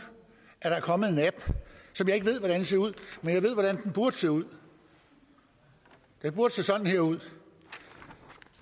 at der er kommet en app som jeg ikke ved hvordan ser ud men jeg ved hvordan den burde se ud den burde se sådan her ud